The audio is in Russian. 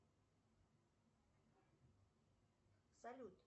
салют